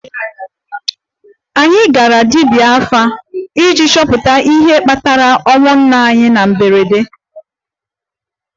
Anyị gara 'dibia afa' iji chọpụta ihe kpatara ọnwụ nna anyị na mberede